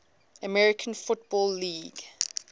american football league